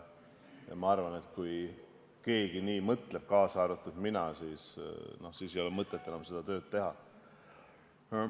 Ma arvan, et kui keegi – kaasa arvatud mina – nii mõtleks, siis ei oleks mõtet enam seda tööd teha.